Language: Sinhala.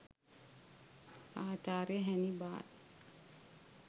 ආචාර්ය හැනිබාල්